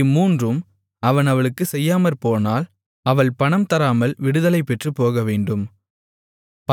இம்மூன்றும் அவன் அவளுக்குச் செய்யாமற்போனால் அவள் பணம் தராமல் விடுதலைபெற்றுப் போகவேண்டும்